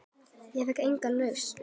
Ég fékk enga lausn.